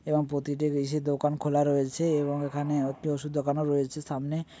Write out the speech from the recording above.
এবং প্রতিটি বেশি দোকান খোলা রয়েছে এবং এখানে একটি ওষুধের দোকানো রয়েছে সামনে--